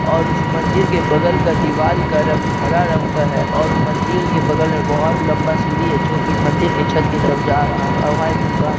और उस मंदिर् के बगल का दीवार आ रंग हरा रंग का है और मंदिर के बगल मे बहुत लंबा सीडी है जो की मंदिर छत की तरफ जा रहा है और वहाँ एक दुकान भी है।